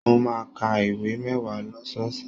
Mo máa n ká ìwé mẹwa lọ́sọọsẹ̀.